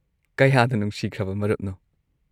ꯀꯌꯥꯗ ꯅꯨꯡꯁꯤꯈ꯭ꯔꯕ ꯃꯔꯨꯞꯅꯣ꯫